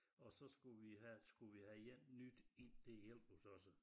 Og så skulle vi have skulle vi have en nyt ind til at hjælpe os også